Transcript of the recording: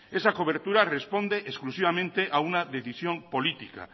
esa cobertura responde exclusivamente a una decisión política